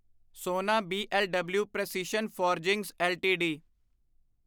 ਸੋਨਾ B L W precision forgings LTD